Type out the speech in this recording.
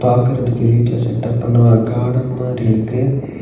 பாக்கறதுக்கு வீட்ல செட்டப் பண்ண ஒரு கார்டன் மாரி இருக்கு.